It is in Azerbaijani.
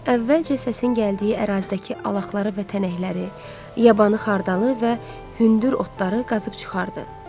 Əvvəlcə səsin gəldiyi ərazidəki alaqları və tənəkləri, yabanı xardalı və hündür otları qazıb çıxartdı.